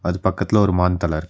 அது பக்கத்துல ஒரு மான் தலர்.